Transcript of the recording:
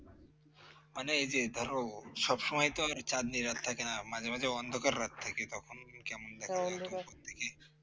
মানে এই যে ধরো সব সময় তো চাঁদনী রাত থাকে না মাঝে মাঝে অন্ধকার রাত থাকে